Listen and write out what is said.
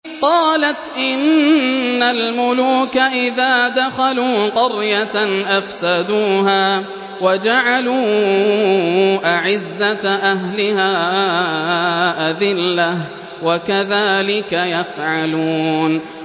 قَالَتْ إِنَّ الْمُلُوكَ إِذَا دَخَلُوا قَرْيَةً أَفْسَدُوهَا وَجَعَلُوا أَعِزَّةَ أَهْلِهَا أَذِلَّةً ۖ وَكَذَٰلِكَ يَفْعَلُونَ